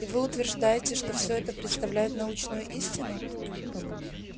и вы утверждаете что все это представляет научную истину